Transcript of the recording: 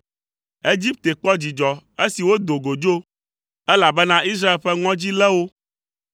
Egipte kpɔ dzidzɔ esi wodo go dzo, elabena Israel ƒe ŋɔdzi lé wo.